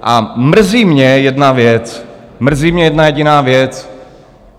A mrzí mě jedna věc - mrzí mě jedna jediná věc.